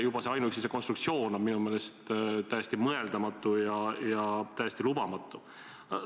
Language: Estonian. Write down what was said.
Juba ainuüksi see konstruktsioon on minu meelest täiesti mõeldamatu ja täiesti lubamatu.